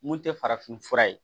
Mun tɛ farafin fura ye